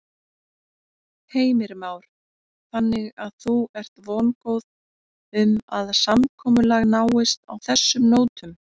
Heimir Már: Þannig að þú ert vongóð um að samkomulag náist á þessum nótum?